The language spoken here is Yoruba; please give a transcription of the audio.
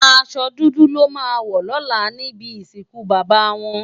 Àsò dúdú lò má wò lòlá nibi isinkú baba wòn